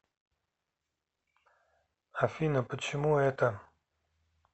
афина почему это